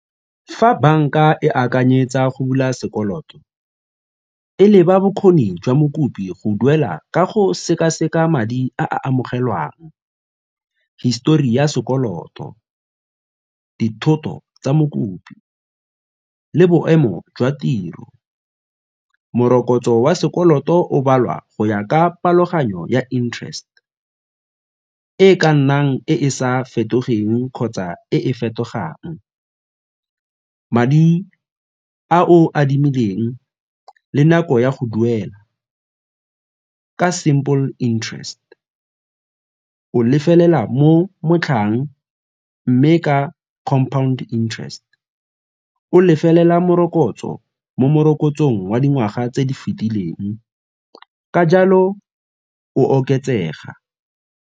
Fa banka e akanyetsa go bula sekoloto, e leba bokgoni jwa mokopi go duela ka go sekaseka madi a a amogelwang, histori ya sekoloto, dithoto tsa mokopi le boemo jwa tiro. Morokotso wa sekoloto o baliwa go ya ka tlhaloganyo ya interest e e ka nnang e e sa fetogeng kgotsa e e fetogang. Madi a o a adimileng le nako ya go duela ka simple interest o lefelela mo motlhang mme ka compound interest o lefelela morokotso mo morokotsong wa dingwaga tse di fetileng ka jalo o oketsega.